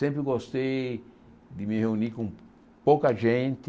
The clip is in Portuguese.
Sempre gostei de me reunir com pouca gente,